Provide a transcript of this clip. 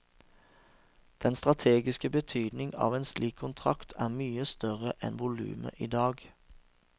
Den strategisk betydning av en slik kontrakt er mye større enn volumet i dag.